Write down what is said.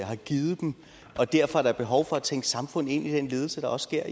har givet dem og derfor er der behov for at tænke samfund ind i den ledelse der også sker